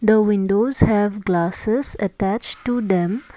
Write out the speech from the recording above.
the windows have glasses attached to them.